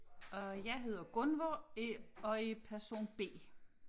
Og jeg hedder Gunvor øh og er person B